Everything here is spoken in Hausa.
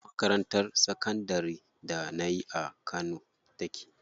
Makarantar sakandarin da nayi a kano take.